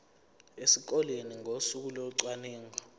esikoleni ngosuku locwaningo